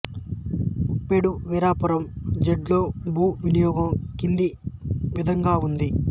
ఉప్పేడు వీరాపురం జెడ్లో భూ వినియోగం కింది విధంగా ఉంది